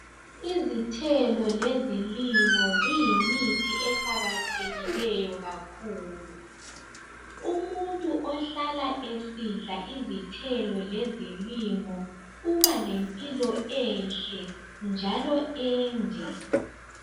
izithelo lezilimo ziyimithi eqakathekileyo kakhulu umuntu osehlala esidla izithelo lezilimo uba lempilo enhle njalo ende